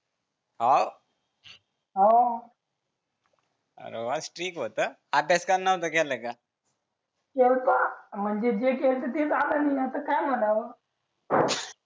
हाव अरे वा कडक होता अभ्यास करणार नव्हता केला का केला होता म्हणजे जे केलं ते आलं नाही तर काय म्हणावं